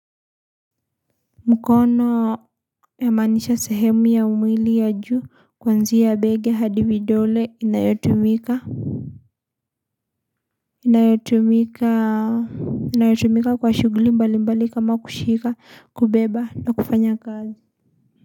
Mkono ya manisha sehemu ya umili ya juu kwanzi ya bega hadi vidole inayotumika inayotumika inayotumika kwa shuguli mbali mbali kama kushika kubeba na kufanya kazi.